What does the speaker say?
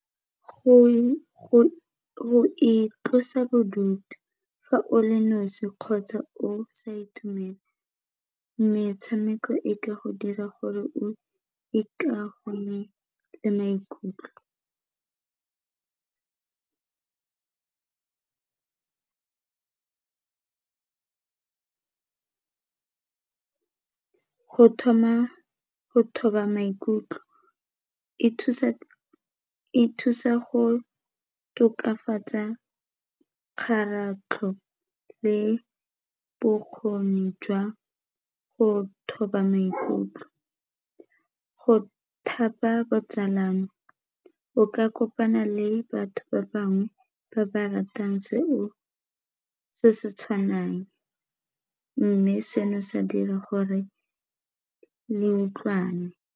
Go itlosa bodutu fa o le nosi kgotsa o sa itumela metshameko e ka go dira gore le maikutlo, go thoma go thoba maikutlo e thusa go tokafatsa kgaratlho le bokgoni jwa go thoba maikutlo, go thapa botsalano o ka kopana le batho ba bangwe ba ba ratang se se tshwanang mme seno sa dira gore le utlwane.